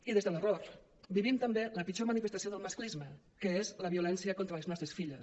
i des de l’error vivim també la pitjor manifestació del masclisme que és la violència contra les nostres filles